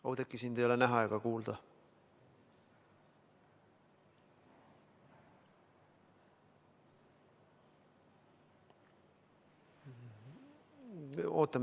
Oudekki, sind ei ole näha ega kuulda.